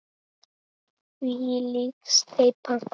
Þvílík steypa!